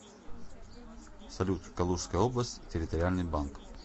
салют калужская область территориальный банк